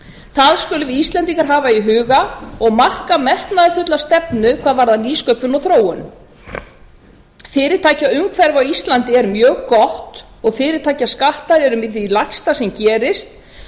það skulum við íslendingar hafa í huga og marka metnaðarfulla stefnu hvað varðar nýsköpun og þróun fyrirtækjaumhverfi á íslandi er mjög gott og fyrirtækjaskattar eru með því lægsta sem gerist